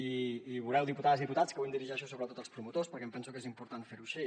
i veureu diputades i diputats que avui em dirigeixo sobretot als promotors perquè em penso que és important fer ho així